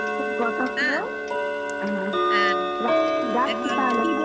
অনেকক্ষণ কথা হল, রাখছি রাখছি তাহলে